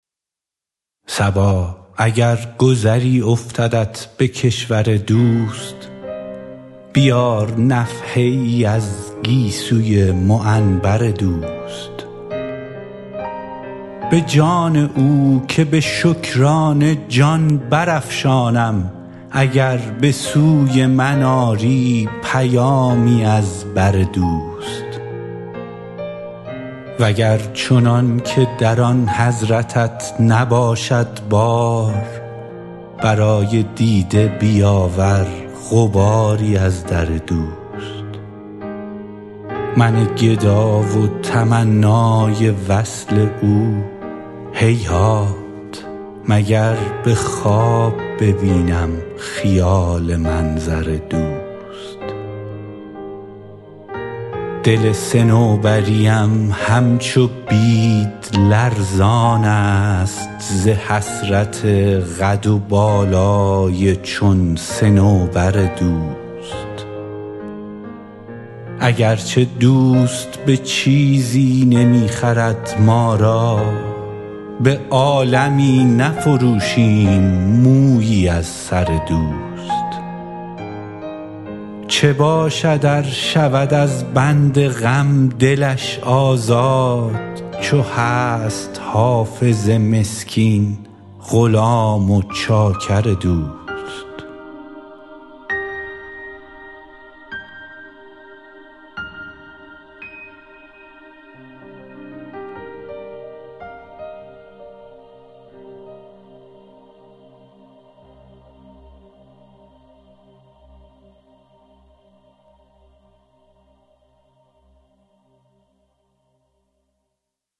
صبا اگر گذری افتدت به کشور دوست بیار نفحه ای از گیسوی معنبر دوست به جان او که به شکرانه جان برافشانم اگر به سوی من آری پیامی از بر دوست و گر چنان که در آن حضرتت نباشد بار برای دیده بیاور غباری از در دوست من گدا و تمنای وصل او هیهات مگر به خواب ببینم خیال منظر دوست دل صنوبری ام همچو بید لرزان است ز حسرت قد و بالای چون صنوبر دوست اگر چه دوست به چیزی نمی خرد ما را به عالمی نفروشیم مویی از سر دوست چه باشد ار شود از بند غم دلش آزاد چو هست حافظ مسکین غلام و چاکر دوست